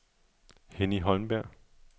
Henny Holmberg